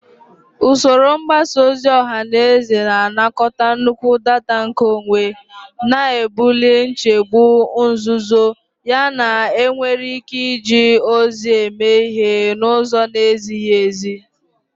Usoro mgbasa ozi ọha na eze na-anakọta nnukwu data nkeonwe, na-ebuli nchegbu nzuzo yana enwere ike iji ozi eme ihe n'ụzọ na-ezighị ezi.